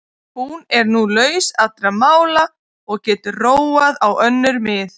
Hún er nú laus allra mála og getur róað á önnur mið.